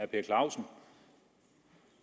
per clausen